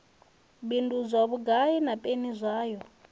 bindudzwa vhugai na peni zwayo